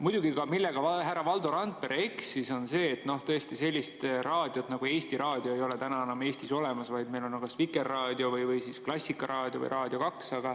Muidugi, see, milles härra Valdo Randpere eksis, oli see, et sellist raadiot nagu Eesti Raadio ei ole enam Eestis olemas, vaid meil on Vikerraadio, Klassikaraadio ja Raadio 2.